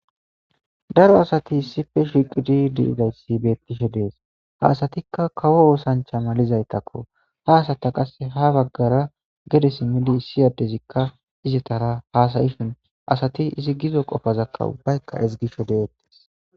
Daaro aasatti issippe shshiqqidi deeidayissi beetishshe dees ha assattika kaawo osanchcha maalizaytako ha assatta qaase ha baagara geede ssimidi issi addezika izatara hassaishshin assatti izzi giizo qofazaka ubbayka ezggishshe deetess.